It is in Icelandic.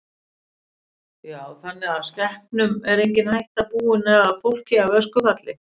Kristján: Já þannig að skepnum er engin hætta búin eða fólki af öskufalli?